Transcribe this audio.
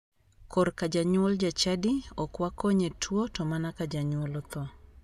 Kor ka janyuol ja chadi, ok wakony e tuo to mana ka janyuol otho.